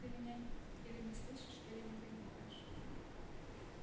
ты меня или не слышишь или не понимаешь